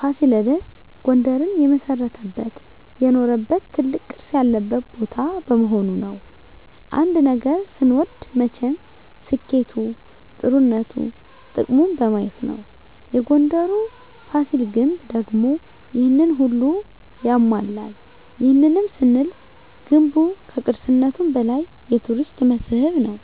ፋሲለደስ ጉንደርን የመሰረተበት የኖረበት ትልቅ ቅርስ ያለበት ቦታ በመሆኑ ነዉ። አንድ ነገር ስንወድ መቸም ስኬቱ ጥሩነቱ ጥቅሙን በማየት ነዉ የጉንደሩ ፋሲል ግንብ ደግሞ ይሄንን ሁሉ ያሟላል ይህንንም ስንል ገንቡ ከቅርስነቱም በላይ የቱሪስት መስህብ ነዉ።